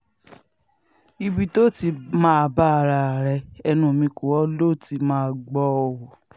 ibi tó o ti máa bá ara ẹ ẹnu mi kọ́ lo ti máa gbọ́ ọ o